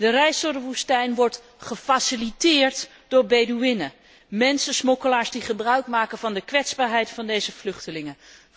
De reis door de woestijn wordt gefaciliteerd door Bedoeïenen, mensensmokkelaars, die gebruikmaken van de kwetsbaarheid van deze vluchtelingen.